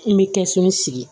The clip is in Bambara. N bɛ kɛsu sigi